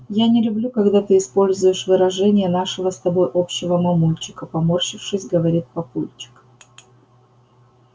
я не люблю когда ты используешь выражения нашего с тобой общего мамульчика поморщившись говорит папульчик